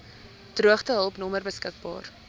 droogtehulp nommer beskik